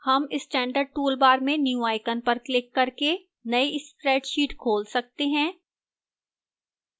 हम standard toolbar में new icon पर क्लिक करके नई spreadsheet खोल सकते हैं